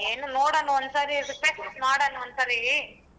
ಏನ್ ನೋಡನ ಒಂದ ಸರಿ request ಮಾಡೋಣ ಒಂದಸರಿ.